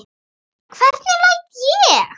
Hvernig læt ég!